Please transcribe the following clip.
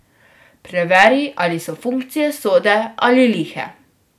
Preveri, ali so funkcije sode ali lihe.